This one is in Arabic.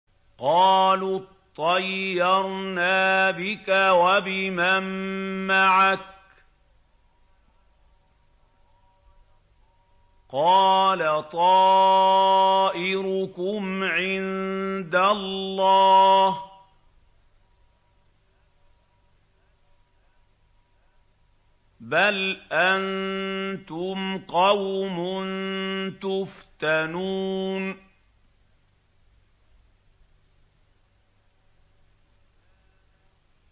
قَالُوا اطَّيَّرْنَا بِكَ وَبِمَن مَّعَكَ ۚ قَالَ طَائِرُكُمْ عِندَ اللَّهِ ۖ بَلْ أَنتُمْ قَوْمٌ تُفْتَنُونَ